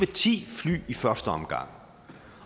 ti fly i første omgang